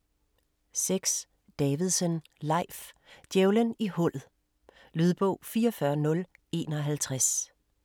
6. Davidsen, Leif: Djævelen i hullet Lydbog 44051